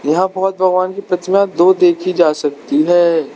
यहां बौद्ध भगवान की प्रतिमा दो देखी जा सकती है।